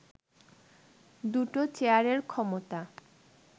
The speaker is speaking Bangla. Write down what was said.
দুটো চেয়ারের ক্ষমতা